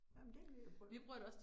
Ej men det vil jeg prøve